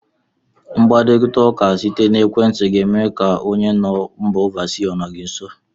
Mkparita ụka site n'ekwenti ga eme ka ọ dị ka onye nọ mba ofesi ọ nọ gị nso.